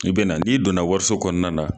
I bɛna n'i donna wariso kɔnɔna la